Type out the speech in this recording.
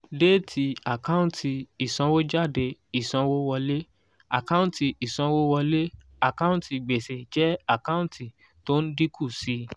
déètì àkáǹtì ìsanwójáde ìsanwówọlé àkáǹtì ìsanwówọlé àkáǹtì gbèsè jẹ́ àkáǹtì tó ń dínkù sí i.